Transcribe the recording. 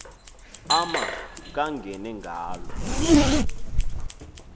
ama kangene ngalo